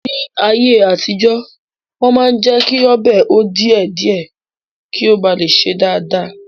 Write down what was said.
Ní ayé àtijọ́, Wọ́n máa ń jẹ́kí ọbẹ̀ hó díẹ̀ díẹ̀ kí ó ba lè sè dáadáa